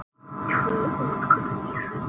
Tvö útköll í Hraunbæ